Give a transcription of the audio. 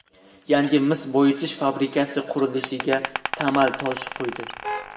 yangi mis boyitish fabrikasi qurilishiga tamal toshi qo‘ydi.